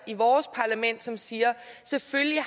i vores parlament som siger at selvfølgelig